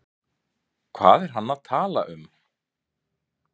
Hvað er hann að tala um?